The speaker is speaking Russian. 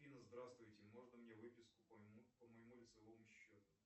афина здравствуйте можно мне выписку по моему лицевому счету